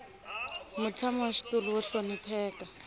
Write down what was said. mutshami wa xitulu wo hlonipheka